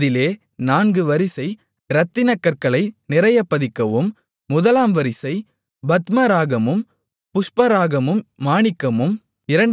அதிலே நான்கு வரிசை இரத்தினக்கற்களை நிறையப் பதிக்கவும் முதலாம் வரிசை பத்மராகமும் புஷ்பராகமும் மாணிக்கமும்